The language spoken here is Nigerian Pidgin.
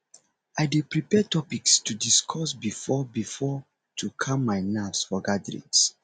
i dey prepare topics to discuss beforebefore to calm my nerves for gatherings